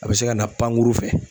A bɛ se ka na pankuru fɛ.